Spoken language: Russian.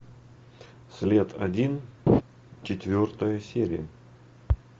след один четвертая серия